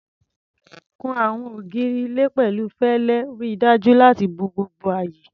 Kun àwọn ògiri ilé pẹ̀lú fẹlẹ, ríi dájú láti bo gbogbo ààyè.